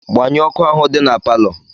Gbanyụọ ọkụ ahụ dị na palọ!